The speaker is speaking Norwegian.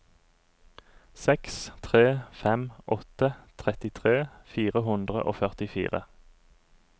seks tre fem åtte trettitre fire hundre og førtifire